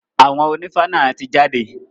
Àwọn ònífá náà ti jáde.